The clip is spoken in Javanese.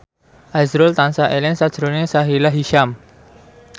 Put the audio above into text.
azrul tansah eling sakjroning Sahila Hisyam